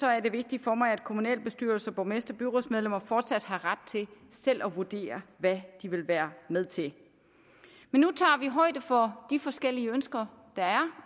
er det vigtigt for mig at kommunalbestyrelser borgmestre og byrådsmedlemmer fortsat har ret til selv at vurdere hvad de vil være med til men nu tager vi højde for de forskellige ønsker der er